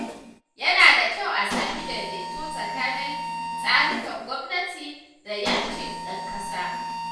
Yana da kyau a sami daidaito tsakanin tsarikan gwamnati da ƴancin ɗan ƙasa.